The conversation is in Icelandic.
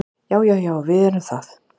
Já, já við erum það.